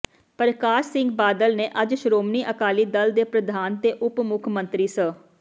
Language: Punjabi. ਪਰਕਾਸ਼ ਸਿੰਘ ਬਾਦਲ ਨੇ ਅੱਜ ਸ਼੍ਰੋਮਣੀ ਅਕਾਲੀ ਦਲ ਦੇ ਪ੍ਰਧਾਨ ਤੇ ਉਪ ਮੁੱਖ ਮੰਤਰੀ ਸ